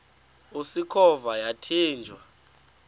usikhova yathinjw a